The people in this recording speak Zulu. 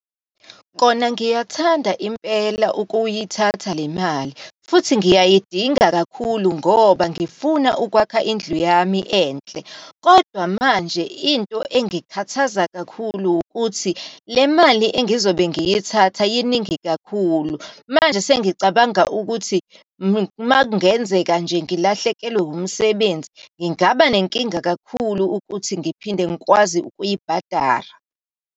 Kona ngiyathanda impela ukuyithatha le mali, futhi ngiyayidinga kakhulu ngoba ngifuna ukwakha indlu yami enhle. Kodwa manje into engikhathaza kakhulu ukuthi, le mali engizobe ngiyithatha iningi kakhulu. Manje sengicabanga ukuthi uma kungenzeka nje ngilahlekelwe umsebenzi, ngingaba nenkinga kakhulu ukuthi ngiphinde ngikwazi ukuyibhadara.